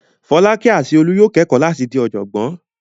Fọ́lákẹ́ àti Olú yóò kẹ́kọ̀ọ́ láti di ọ̀jọ̀gbọ́n.